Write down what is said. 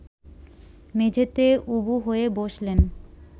মেঝেতে উবু হয়ে বসলেন